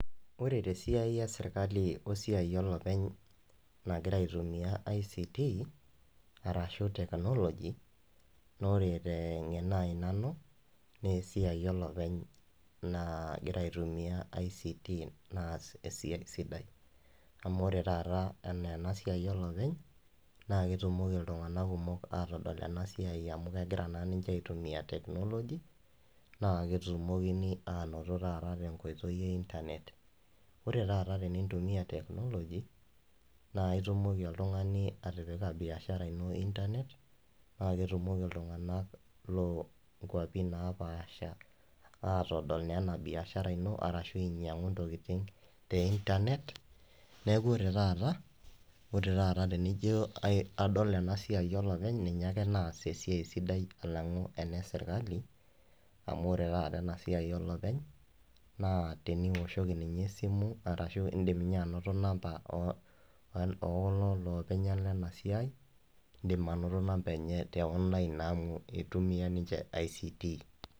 Ore tesiai esirkali oesiai olopeny nagira aitumia ICT arashu technology naa ore tengeno ai nanu naa esiai olopeny naagira aitumia ICT naas esiai sidai ,Amu ore taat enaa enasiai olopeny naa ketumoki iltunganak kumok atodol ena siai amu kegira naa ninche aitumia technology naa ketumokini anoto taaat tenkoitoi einternet . Ore taata tenintumia technology naa itumoki oltungani atipika biashara ino einternet paa ketumoki iltunganak loonkwapi naapasha atodol naa ena biashara ino arashu ainyiangu ntokitin te internet, niaku ore taata, ore taata tenijo adol ena siai olopeny ninye ake naas esiai sidai alangu ena esirkali amu ore taata ena siai olopeny naa teniwoshoki ninye esimu arashu indim ninye anoto namba okulo loopeny lena siai , indim anoto namba enye teonline amu itumia ninche ICT.